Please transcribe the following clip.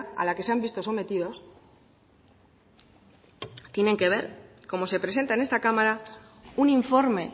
a la que se han visto sometidos tienen que ver cómo se presenta en esta cámara un informe